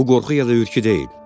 Bu qorxu ya da hürkü deyil.